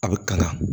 A bɛ kala